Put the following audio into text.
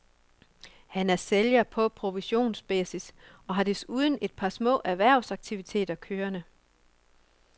Han er sælger på provisionsbasis og har desuden et par små erhvervsaktiviteter kørende.